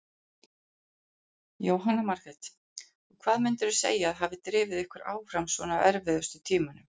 Jóhanna Margrét: Og hvað myndirðu segja að hafi drifið ykkur áfram svona á erfiðustu tímunum?